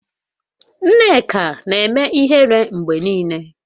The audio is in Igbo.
Nneka na-eme ihere mgbe niile.